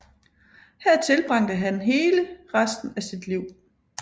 Her tilbragte han hele resten af sit liv